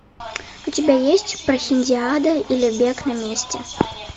у тебя есть прохиндиада или бег на месте